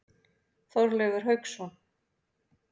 Þorleifur Hauksson.